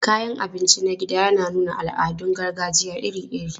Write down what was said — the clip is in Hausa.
Kayan abinci na gida yana nuna al'adun gargajiya iri-iri.